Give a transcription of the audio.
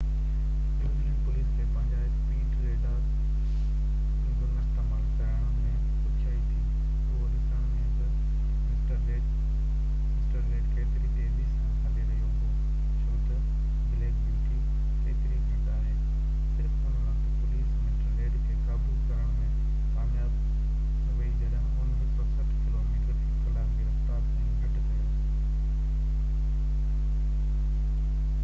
New Zealand police کي پنهنجا speed radar gun استعمال ڪرڻ ۾ ڏکيائي ٿي اهو ڏسڻ ۾ تہ مسٽر ريڊ ڪيتري تيزي سان هلي رهيو هو ڇو تہ بليڪ بيوٽي ڪيتري گهٽ آهي صرف ان وقت پوليس مسٽر ريڊ کي قابو ڪرڻ ۾ ڪامياب ويئي جڏهن هن 160 ڪلوميٽر في ڪلاڪ جي رفتار تائين گهٽ ڪيو